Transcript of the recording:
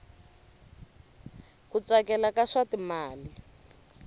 ku tsakela ka swa timali